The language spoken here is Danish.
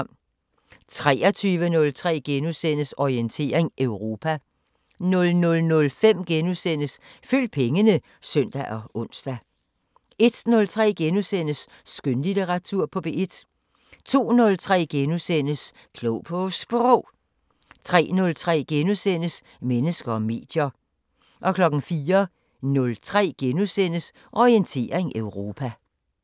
23:03: Orientering Europa * 00:05: Følg pengene *(søn og ons) 01:03: Skønlitteratur på P1 * 02:03: Klog på Sprog * 03:03: Mennesker og medier * 04:03: Orientering Europa *